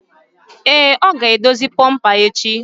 Èé, ọ ga-edozi bomper echi.